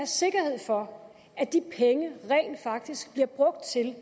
sikkerhed for at de penge rent faktisk bliver brugt til